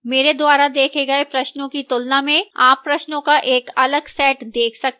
मेरे द्वारा देखे गए प्रश्नों की तुलना में आप प्रश्नों का एक अलग set देख सकते हैं